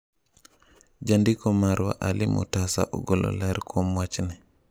Jandiko marwa Ali Mutasa ogolo ler kuom wachni.